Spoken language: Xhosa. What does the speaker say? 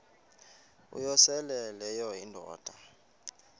uyosele leyo indoda